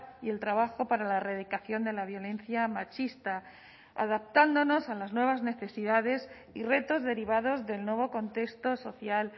y el trabajo para la erradicación de la violencia machista adaptándonos a las nuevas necesidades y retos derivados del nuevo contexto social